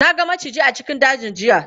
Na ga maciji a cikin dajin jiya.